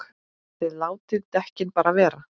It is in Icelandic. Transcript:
ÞIÐ LÁTIÐ DEKKIN BARA VERA!